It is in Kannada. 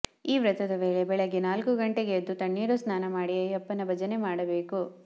ಈ ವ್ರತದ ವೇಳೆ ಬೆಳ್ಳಗ್ಗೆ ನಾಲ್ಕು ಗಂಟೆಗೆ ಎದ್ದು ತಣ್ಣೀರು ಸ್ನಾನ ಮಾಡಿ ಅಯ್ಯಪ್ಪನ ಭಜನೆ ಮಾಡಬೇಕು